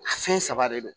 Fɛn saba de don